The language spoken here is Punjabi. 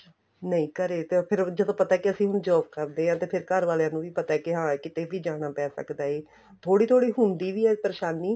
ਨਹੀਂ ਘਰੇ ਤਾਂ ਫ਼ਿਰ ਜਦੋਂ ਕੀ ਅਸੀਂ ਹੁਣ job ਕਰਦੇ ਆ ਤੇ ਫ਼ਿਰ ਘਰ ਵਾਲਿਆਂ ਨੂੰ ਪਤਾ ਹੈ ਕੇ ਹਾਂ ਕਿੱਥੇ ਵੀ ਜਾਣਾ ਪੇ ਸਕਦਾ ਏ ਥੋੜੀ ਥੋੜੀ ਹੁੰਦੀ ਵੀ ਏ ਪਰੇਸ਼ਾਨੀ